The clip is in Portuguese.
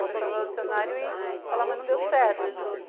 A pessoa vai no dicionário e fala, mas não deu certo.